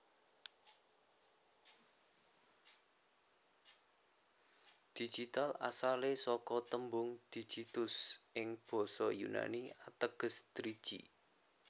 Digital asalé saka tembung Digitus ing basa Yunani ateges driji